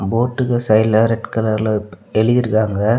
போட்டுக்கு சைடுல ரெட் கலர்ல எழுதி இருக்காங்க.